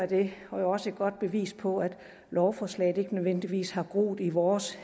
det er jo også et godt bevis på at lovforslaget ikke nødvendigvis har groet i vores